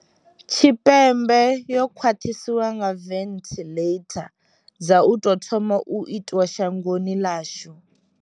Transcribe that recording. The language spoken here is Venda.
Tshipembe yo khwaṱhiswa nga venthiḽeitha dza u tou thoma u itwa shangoni ḽashu.